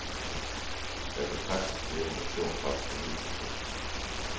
Jeg kan sagtens leve med et stort pres på min person.